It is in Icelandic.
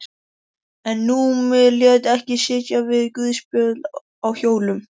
En Númi lét ekki sitja við guðspjöll á hjólum.